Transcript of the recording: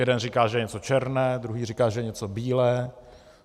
Jeden říká, že je něco černé, druhý říká, že je něco bílé.